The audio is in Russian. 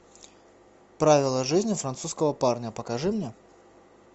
правила жизни французского парня покажи мне